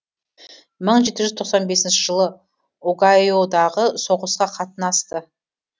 мың жеті жүз тоқсан бесінші жылы огайодағы соғысқа қатынасты